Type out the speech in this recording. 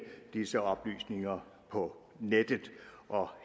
disse oplysninger på nettet og